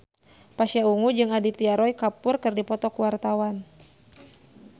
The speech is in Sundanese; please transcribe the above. Pasha Ungu jeung Aditya Roy Kapoor keur dipoto ku wartawan